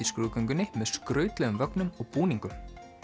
skrúðgöngunni með skrautlegum vögnum og búningum